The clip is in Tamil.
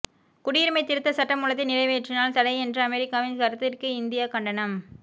குடியுரிமை திருத்த சட்டமூலத்தை நிறைவேற்றினால் தடை என்ற அமெரிக்காவின் கருத்திற்கு இந்தியா கண்டனம்